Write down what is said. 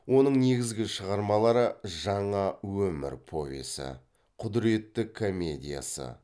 оның негізгі шығармалары жаңа өмір повесі құдіретті комедиясы